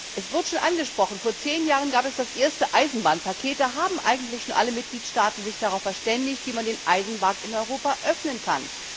Es wurde schon angesprochen Vor zehn Jahren gab es das erste Eisenbahnpaket, da haben sich eigentlich schon alle Mitgliedstaaten darauf verständigt, wie man den Eisenbahnmarkt in Europa öffnen kann.